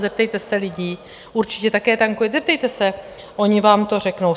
Zeptejte se lidí, určitě také tankujete, zeptejte se, oni vám to řeknou.